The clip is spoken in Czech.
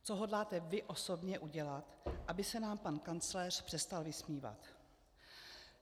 Co hodláte vy osobně udělat, aby se nám pan kancléř přestal vysmívat?